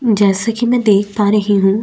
जैसा की मैं देख पा रही हूँ।